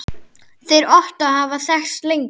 Þeir Ottó hafa þekkst lengi.